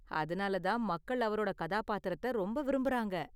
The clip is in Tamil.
அதனால தான் மக்கள் அவரோட கதாபாத்திரத்த ரொம்ப விரும்புறாங்க.